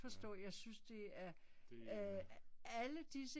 Ja. Det er